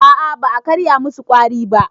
A a ba a karya musu ƙwari ba.